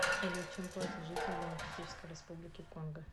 салют чем платят жители демократической республики конго